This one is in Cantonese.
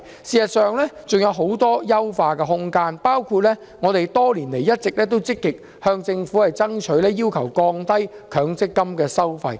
事實上，強積金還有很大的優化空間，包括我們多年來一直積極向政府爭取的降低強積金收費。